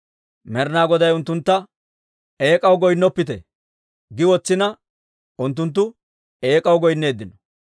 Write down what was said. Med'ina Goday unttuntta, «Eek'aw goynnoppite» gi wotsina, unttunttu eek'aw goynneeddino.